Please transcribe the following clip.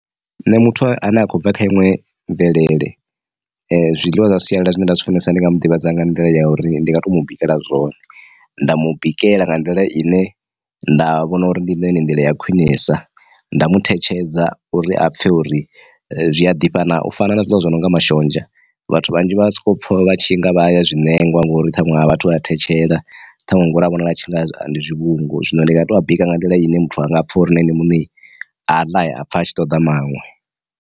Nṋe muthu a ne a khou bva kha iṅwe mvelele, zwiḽiwa zwa sialala zwine nda zwi funesa ndi nga mu ḓivhadza nga nḓila ya uri ndi nga to mu bikela zwone, nda mu bikela nga nḓila ine nda vhona uri ndi yone nḓila ya khwinesa, nda mu thetshedza uri a pfhe uri zwia ḓifha na u fana na zwiḽiwa zwi no nga mashonzha vhathu vhanzhi vha soko pfha vha tshi nga vha ya zwine nengwa ngori ṱhaṅwe a vhathu a thetshela ṱhanwe ngori a vhonala tshi nga ndi zwi vhungu zwino ndi nga to bika nga nḓila ine muthu anga pfa uri na ene muṋe a ḽa a pfha a tshi ṱoḓa maṅwe.